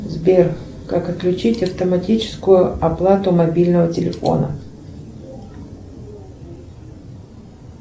сбер как отключить автоматическую оплату мобильного телефона